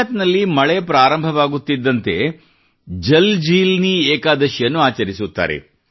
ಗುಜರಾತ್ ನಲ್ಲಿ ಮಳೆ ಪ್ರಾರಂಭ ಆಗುತ್ತಿದ್ದಂತೆ ಅಲ್ಲಿ ಜಲ್ಜೀಲ್ನಿ ಏಕಾದಶಿಯನ್ನು ಆಚರಿಸುತ್ತಾರೆ